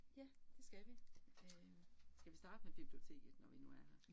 Ja, det skal vi øh, skal vi starte med biblioteket, når vi nu er her